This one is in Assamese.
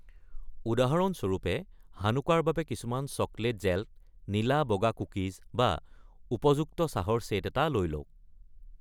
উদাহৰণস্বৰূপে, হানুকাৰ বাবে কিছুমান চকলেট জেল্ট, নীলা-বগা কুকিজ, বা উপযুক্ত চাহৰ চেট এটা লৈ লওঁক।